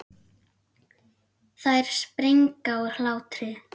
Þær springa úr hlátri.